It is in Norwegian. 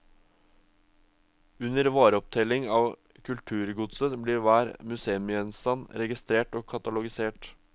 Under vareopptelling av kulturgodset blir hver museumsgjenstand registrert og katalogisert.